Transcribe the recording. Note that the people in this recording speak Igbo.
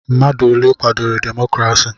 Mmadụ ole kwadoro demokrasi?